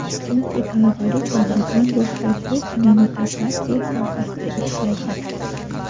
chunki talabalik davridan boshlab u kinematografiya sohasida ishlagan.